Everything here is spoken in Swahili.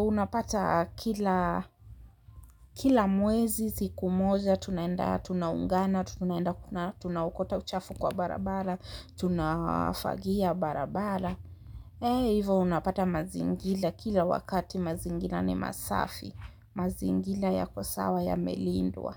unapata kila mwezi siku moja tunaenda tunaungana tunaenda tuna tunaokota uchafu kwa barabara. Tunafagia barabara eh hivo unapata mazingira kila wakati mazingira ni masafi mazingira yako sawa yamelindwa.